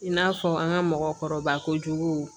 I n'a fɔ an ka mɔgɔkɔrɔba kojugu